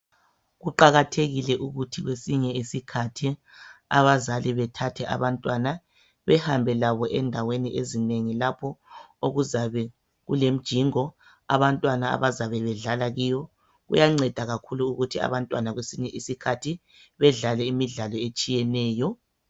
Kuqakathekile ukuthi kwesinye isikhathi abazali bethathe abantwana behambe labo endaweni ezinengi, lapho okuzabe kulemjingo abantwana abazabe bedlala kiyo kuyanceda kakhulu ukuthi abantwana kwesinye isikhathi bedlale imidlalo etshiyeneyo.